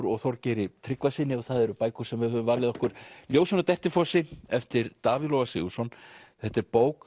og Þorgeiri Tryggvasyni og það eru bækur sem við höfum valið okkur ljósin á Dettifossi eftir Davíð Loga Sigurðsson þetta er bók